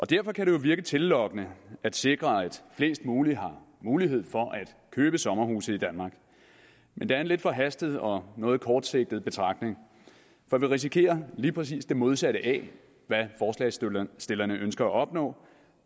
derfor kan det jo virke tillokkende at sikre at flest mulige har mulighed for at købe sommerhuse i danmark men det er en lidt forhastet og noget kortsigtet betragtning for vi risikerer lige præcis det modsatte af hvad forslagsstillerne ønsker at opnå